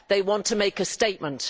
They want to make a statement.